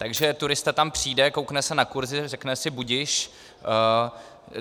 Takže turista tam přijde, koukne se na kurzy, řekne si budiž.